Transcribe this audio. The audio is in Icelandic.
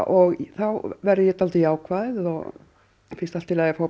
þá verð ég dálítið jákvæð og finnst allt í lagi að fá